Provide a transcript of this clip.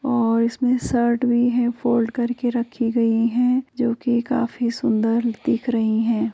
और इसमें शर्ट भी है फोल्ड करके रखी गई है जो की काफी सुंदर दिख रही है।